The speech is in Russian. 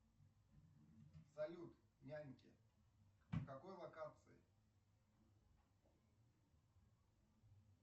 салют няньки в какой локации